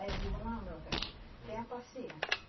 Aí eu digo, não, meu velho, tenha paciência.